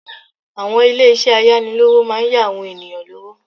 Àwọn ilésé ayánilówó máa yá àwọn ènìyàn lówó